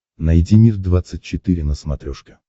найди мир двадцать четыре на смотрешке